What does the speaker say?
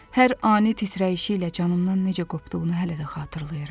Hər ani titrəyişi ilə canımdan necə qopduğunu hələ də xatırlayıram.